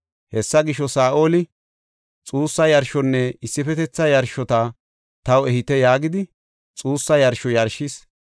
Hessa gisho, Saa7oli, “Xuussa yarshonne issifetetha yarshota taw ehite” yaagidi, xuussa yarsho yarshis.